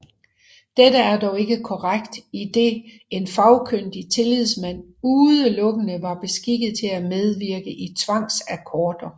Dette er dog ikke korrekt idet en Fagkyndig tillidsmand udelukkende var beskikket til at medvirke i tvangsakkorder